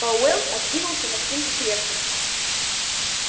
пауэлл откинулся на спинку кресла